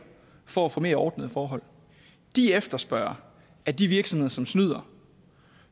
for at få mere ordnede forhold de efterspørger at de virksomheder som snyder